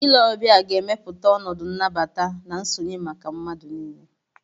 Ile ọbịa ga-emepụta ọnọdụ nnabata na nsonye maka mmadụ niile.